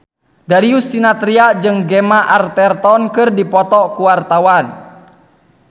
Darius Sinathrya jeung Gemma Arterton keur dipoto ku wartawan